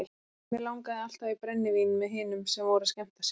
Mig langaði alltaf í brennivín með hinum sem voru að skemmta sér.